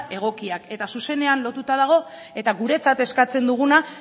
egokiak eta zuzenean lotuta dago eta guretzat eskatzen duguna